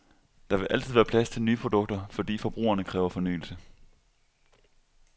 Der vil altid være plads til nye produkter, fordi forbrugerne kræver fornyelse.